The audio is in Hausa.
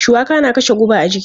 Shuwaka na kashe guba a jiki.